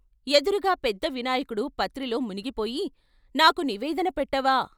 ఎదురుగా పెద్దవినాయకుడు పత్రిలో మునిగిపోయి "నాకు నివేదన పెట్టవా?